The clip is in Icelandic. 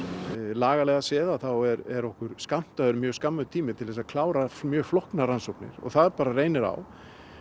lagalega séð þá er okkur skammtaður mjög skammur tími til að Kára mjög flóknar rannsóknir það reynir á